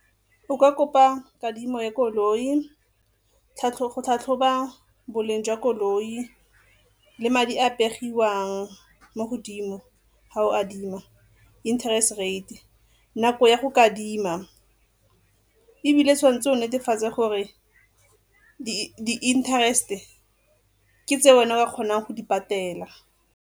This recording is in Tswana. O ka kopa kadimo ya koloi go tlhatlhoba boleng jwa koloi le madi a a pegiwang mo godimo ga o adima interest rate, nako ya go kadima. Ebile tshwanetse o netefatse gore di-interest-e ke tse wena ka kgonang go di patela.